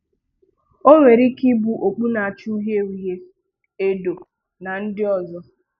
Ọ nwere ike ịbụ okpù na-acha ùhìè ùhìè, èdò na ndị ọzọ.